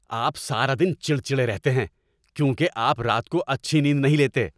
آپ سارا دن چڑچڑے رہتے ہیں کیونکہ آپ رات کو اچھی نیند نہیں لیتے۔